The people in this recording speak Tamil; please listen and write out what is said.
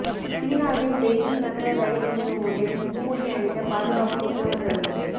சீனாவின் பெய்ஜிங் நகர ரயில் நிலையமொன்றில் முகமூடி அணிந்த பாதுகாப்பு உத்தியோகத்தர்கள்